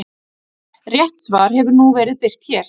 Rétt svar hefur nú verið birt hér.